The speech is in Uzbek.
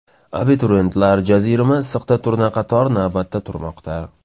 Abituriyentlar jazirama issiqda turnaqator navbatda turmoqda .